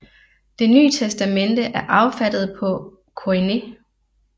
Det Ny Testamente er affattet på koiné